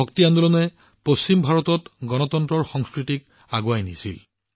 ভক্তি আন্দোলনে পশ্চিম ভাৰতত গণতন্ত্ৰৰ সংস্কৃতিক আগবঢ়াই নিছিল